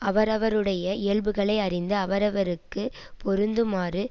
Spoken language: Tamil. அவரவருடைய இயல்புகளை அறிந்து அவரவருக்கு பொருந்துமாறு